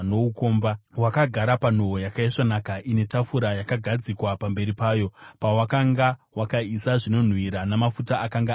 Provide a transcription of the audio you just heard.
Wakagara panhoo yakaisvonaka ine tafura yakagadzikwa pamberi payo pawakanga wakaisa zvinonhuhwira namafuta akanga ari angu.